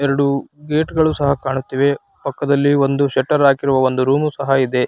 ಎರಡು ಗೇಟ್ ಗಳು ಸಹ ಕಾಣುತ್ತಿವೆ. ಪಕ್ಕದಲ್ಲಿ ಒಂದು ಶಟರ್ ಹಾಕಿರೋ ಒಂದು ರೂಮ್ ಸಹ ಇದೆ.